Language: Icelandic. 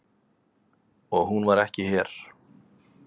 Og hún var ekki her.